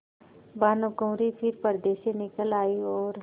भानुकुँवरि फिर पर्दे से निकल आयी और